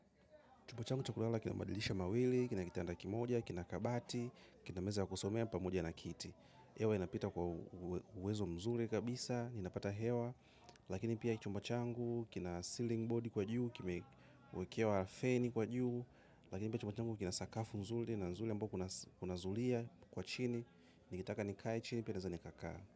Chumba changu cha kulala kina madirisha mawili, kina kitanda kimoja, kina kabati, kina meza ya kusomea pamoja na kiti. Hewa inapita kwa uwezo mzuri kabisa, ninapata hewa, lakini pia chumba changu, kina ceiling board kwa juu, kimewekewa feni kwa juu, lakini pia chumba changu kina sakafu nzuri na nzuri ambao kuna zulia kwa chini, nikitaka nikae chini, pia naeza nikakaa.